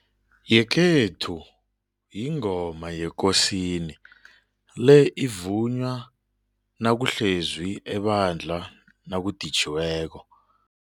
Yekhethu yingoma yekosini le ivunywa nakuhlezwi ebandla nakuditjhiweko.